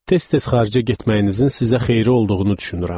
Tez-tez xaricə getməyinizin sizə xeyiri olduğunu düşünürəm.